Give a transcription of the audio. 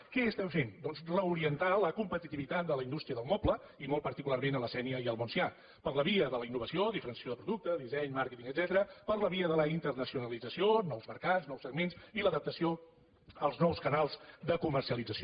què estem fent doncs reorientar la competitivitat de la indústria del moble i molt particularment a la sénia i al montsià per la via de la innovació diferenciació de producte disseny màrqueting etcètera per la via de la internacionalització nous mercats nous segments i l’adaptació als nous canals de comercialització